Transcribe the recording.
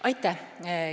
Aitäh!